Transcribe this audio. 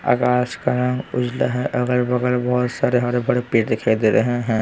आकाश का रंग उजला है अगल-बगल बहुत सारे हरे भरे पेड़ दिखाई दे रहे हैं।